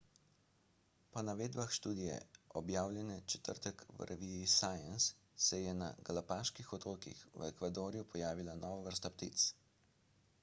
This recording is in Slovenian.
po navedbah študije objavljene v četrtek v reviji science se je na galapaških otokih v ekvadorju pojavila nova vrsta ptic